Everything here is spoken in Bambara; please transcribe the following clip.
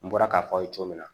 N bɔra k'a fɔ aw ye cogo min na